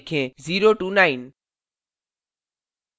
0 to 9